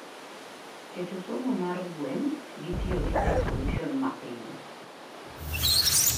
Keto somo mar gweng gi tiyo gi Tech solution mapiny